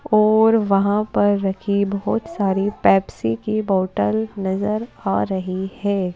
और वहां पर रखी बहुत सारी पेप्सी की बोतल नजर आ रही है।